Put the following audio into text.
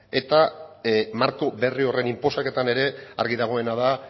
eta marko berri horren inposaketan ere argi dagoena da